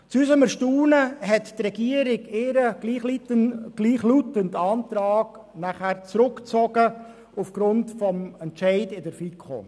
Zu unserem Erstaunen hat die Regierung ihren gleichlautenden Antrag aufgrund des Entscheids der FiKo wieder zurückgezogen.